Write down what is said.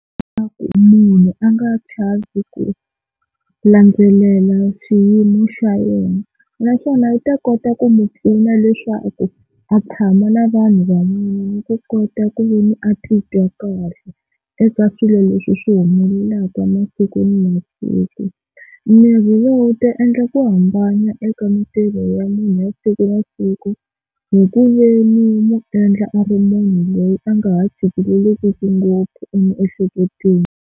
munhu a nga chavi ku landzelela xiyimo xa yena naswona u ta kota ku n'wi pfuna leswaku a tshama na vanhu van'wana ni ku kota ku veni a titwa kahle eka swilo leswi swi humelelaka masiku ni masiku. Mirhi lowu wu ta endla ku hambana eka mintirho ya munhu ya siku na siku hi ku veni u n'wu endla a ri munhu loyi a nga ha tshikeleleki ngopfu emiehleketweni.